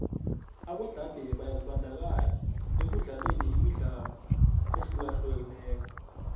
abodade byazibandakanya ekudlaleni imidlalo ehlukahlukeneko